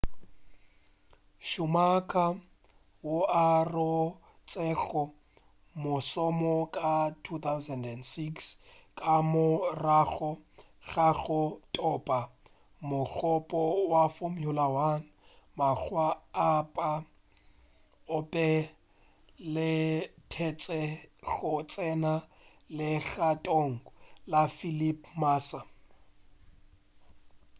schumacher wo a rotšego mošomo ka 2006 ka morago ga go thopa mogopo wa formula 1 makga a pa o be a letešwe go tsena legatong la felipe massa